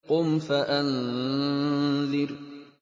قُمْ فَأَنذِرْ